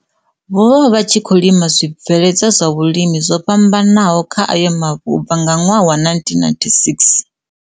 vho vha vha tshi khou lima zwibvele dzwa zwa vhulimi zwo fhambanaho kha ayo mavu u bva nga ṅwaha wa 1996.